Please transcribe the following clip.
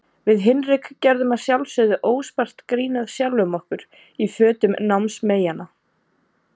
Við Hinrik gerðum að sjálfsögðu óspart grín að sjálfum okkur í fötum námsmeyjanna.